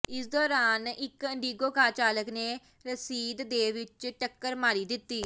ਇਸੇ ਦੋਰਾਨ ਇਕ ਇੰਡੀਗੋ ਕਾਰ ਚਾਲਕ ਨੇ ਰਸ਼ੀਦ ਦੇ ਵਿਚ ਟੱਕਰ ਮਾਰੀ ਦਿੱਤੀ